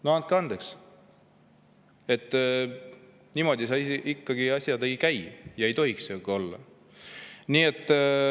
No andke andeks, niimoodi ikkagi asjad ei käi, nii need ei tohiks olla.